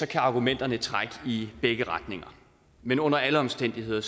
kan argumenterne trække i begge retninger men under alle omstændigheder